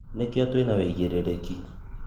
Nĩkĩo twĩna ũigerereki.